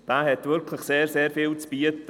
Dieser hat wirklich sehr vieles zu bieten.